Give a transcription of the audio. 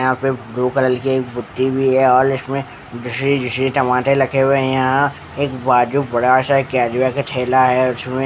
यहाँ पर blue colour की एक बुथी भी है और इसमें दूसरी दूसरी टमाटर रखे हुए है यहाँ एक बाजू बड़ा सा कैजुए का ठेला है उसमें --